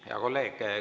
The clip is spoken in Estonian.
Hea kolleeg!